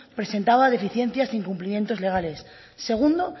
presentaba deficiencias e incumplimientos legales segundo